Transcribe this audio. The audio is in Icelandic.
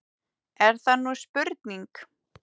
Er það nú spurning!